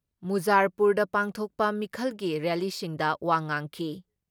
ꯃꯨꯖꯥꯔꯄꯨꯔꯗ ꯄꯥꯡꯊꯣꯛꯄ ꯃꯤꯈꯜꯒꯤ ꯔꯦꯜꯂꯤꯁꯤꯡꯗ ꯋꯥ ꯉꯥꯡꯈꯤ ꯫